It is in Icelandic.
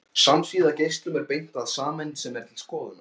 Samsíða geislum er beint að sameind sem er til skoðunar.